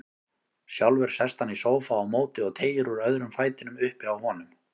Sjálfur sest hann í sófa á móti og teygir úr öðrum fætinum uppi á honum.